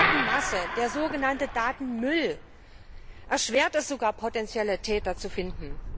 Die Datenmasse, der sogenannte Datenmüll, erschwert es sogar, potenzielle Täter zu finden.